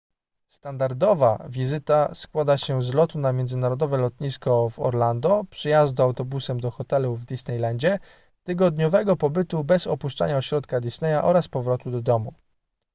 standardowa wizyta składa się z lotu na międzynarodowe lotnisko w orlando przejazdu autobusem do hotelu w disneylandzie tygodniowego pobytu bez opuszczania ośrodka disneya oraz powrotu do domu